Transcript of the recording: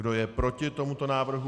Kdo je proti tomuto návrhu?